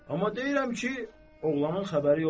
amma deyirəm ki, oğlanın xəbəri yoxdur.